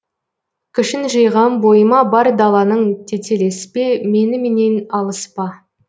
күшін жиғам бойыма бар даланың тетелеспе меніменен алыспа